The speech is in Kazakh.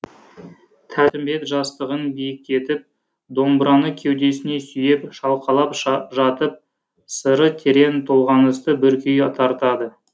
тәттімбет жастығын биіктетіп домбыраны кеудесіне сүйеп шалқалап жатып сыры терең толғанысты бір күй тартады